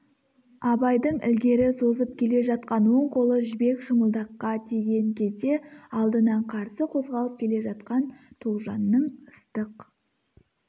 абайдың ілгері созып келе жатқан оң қолы жібек шымылдаққа тиген кезде алдынан қарсы қозғалып келе жатқан тоғжанның ыстық